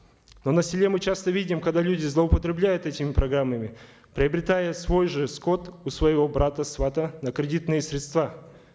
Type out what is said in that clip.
но на селе мы часто видим когда люди злоупотребляют этими программами приобретая свой же скот у своего брата свата на кредитные средства